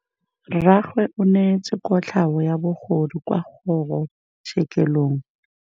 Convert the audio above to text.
Rragwe o neetswe kotlhaô ya bogodu kwa kgoro tshêkêlông.